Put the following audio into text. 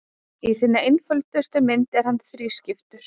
Í sinni einföldustu mynd er hann þrískiptur.